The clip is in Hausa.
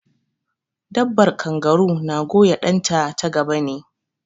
Dabbar kangaru na goya ɗan ta ta gaba ne